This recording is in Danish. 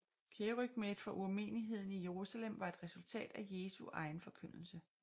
Kerygmaet fra urmenigheden i Jerusalem var et resultat af Jesu egen forkyndelse